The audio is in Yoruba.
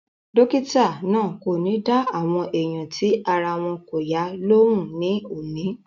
Dọ́kítà náà kò ní dá àwọn èèyàn tí ara wọn kò yá lóhùn ní òní